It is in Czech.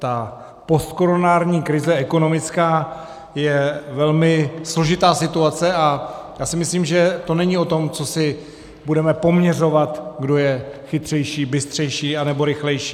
Ta postkoronární krize ekonomická je velmi složitá situace a já si myslím, že to není o tom, co si budeme poměřovat, kdo je chytřejší, bystřejší anebo rychlejší.